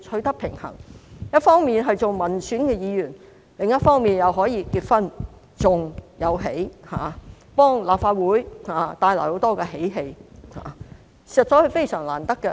她一方面擔任民選議員，另一方面又可以結婚及生兒育女，為立法會帶來很多喜氣，實在非常難得。